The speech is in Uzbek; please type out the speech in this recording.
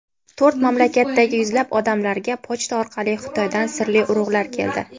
To‘rt mamlakatdagi yuzlab odamlarga pochta orqali Xitoydan sirli urug‘lar keldi.